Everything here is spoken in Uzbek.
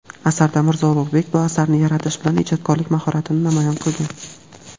asarda Mirzo Ulug‘bek bu asarini yaratish bilan ijodkorlik mahoratini namoyon qilgan.